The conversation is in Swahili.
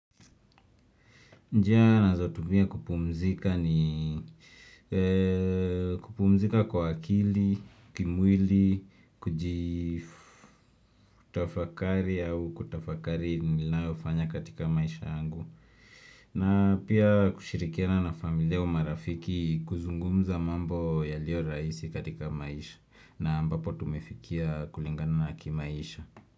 Njia ninazotumia kupumzika ni kupumzika kwa akili, kimwili, kutafakari au kutafakari ninayo fanya katika maisha yangu. Na pia kushirikiana na familia au marafiki kuzungumza mambo yalio rahisi katika maisha na ambapo tumefikia kulingana na kimaisha.